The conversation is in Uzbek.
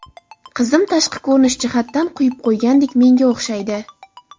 Qizim tashqi ko‘rinish jihatdan quyib qo‘ygandek menga o‘xshaydi.